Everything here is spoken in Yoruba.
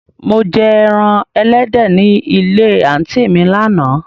Mò jẹ ẹran èléde ní ilẹ̀ àntí mi làna.